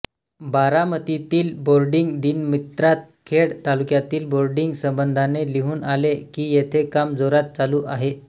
बारामतीतील boarding दिनमित्रात खेड तालुक्यातील boarding संबधाने लिहुन आले की येथे काम जोरात चालू आहे